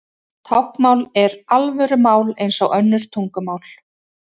Táknmál er alvöru mál eins og önnur tungumál.